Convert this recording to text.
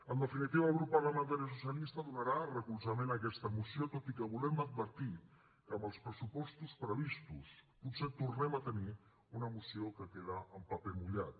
en definitiva el grup parlamentari socialista donarà recolzament a aquesta moció tot i que volem advertir que amb els pressupostos previstos potser tornem a tenir una moció que queda en paper mullat